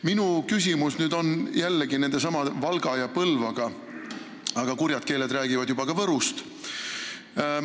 Minu küsimus on jällegi Valga ja Põlva kohta, aga kurjad keeled räägivad juba ka Võrust.